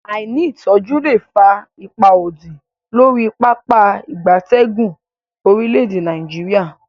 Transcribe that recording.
Aini itoju le fa ipa odi lori Pápá ìgbatẹ́gùn orile-ede Nigeria.